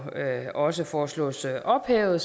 også foreslås ophævet